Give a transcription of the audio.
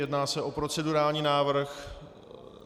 Jedná se o procedurální návrh.